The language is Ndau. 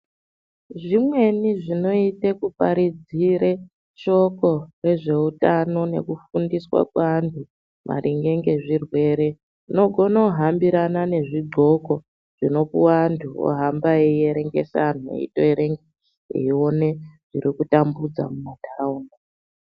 Zvimweni zvinoite kuparidzire shoko rezveutano nekufundiswa kwaanhu maringe nezvirwere unogone kuhambkrana nezvidxoko zvinopuwe anhu ohamba eierengese anhu eitoerenga eione zviri kutambudza mumantaraunda.